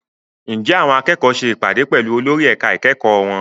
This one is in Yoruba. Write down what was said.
Ǹjẹ́ àwọn akẹ́kọ̀ọ́ ṣe ìpàdé pẹ̀lú olórí ẹ̀ka ìkẹ́kọ̀ọ́ wọn?